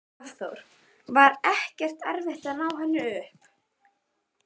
Hafþór: Var ekkert erfitt að ná henni upp?